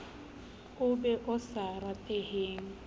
o mobe o sa rateheng